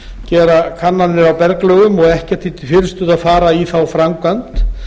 gera kannanir á berglögum og ekkert því til fyrirstöðu að fara í þá framkvæmd